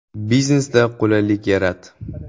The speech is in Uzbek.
Biznesda qulaylik yarat.